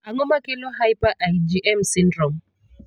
Ang'o makelo hyper IgM syndrome?